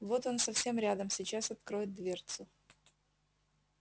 вот он совсем рядом сейчас откроет дверцу